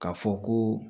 K'a fɔ ko